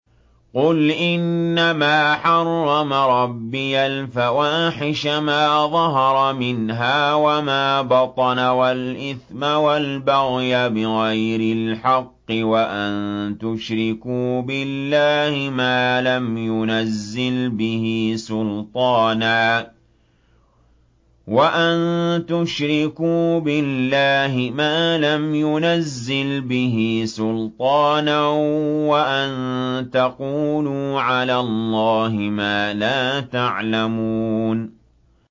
قُلْ إِنَّمَا حَرَّمَ رَبِّيَ الْفَوَاحِشَ مَا ظَهَرَ مِنْهَا وَمَا بَطَنَ وَالْإِثْمَ وَالْبَغْيَ بِغَيْرِ الْحَقِّ وَأَن تُشْرِكُوا بِاللَّهِ مَا لَمْ يُنَزِّلْ بِهِ سُلْطَانًا وَأَن تَقُولُوا عَلَى اللَّهِ مَا لَا تَعْلَمُونَ